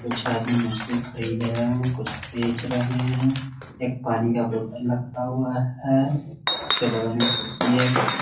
कुछ आदमी मछली खरीद रहे हैं कुछ बेच रहा हैं एक पानी का बोतल रखा हुआ है उसके बगल में कुर्सी है कुर्सी --